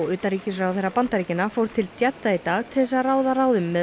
utanríkisráðherra Bandaríkjanna fór til Jeddah í dag til þess að ráða ráðum með